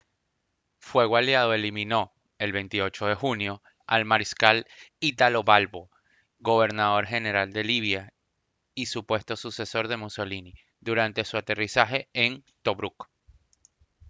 fuego aliado eliminó el 28 de junio al mariscal italo balbo gobernador general de libia y supuesto sucesor de mussolini durante su aterrizaje en tobruk